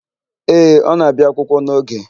Ee, ọ na-abịa akwụkwọ n'oge.